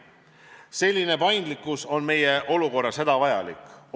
Selline paindlikkus on meie olukorras hädavajalik.